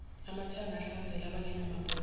amathanga ahlanzela abangenamabhodwe